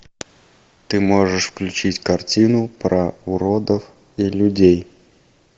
ты можешь включить картину про уродов и людей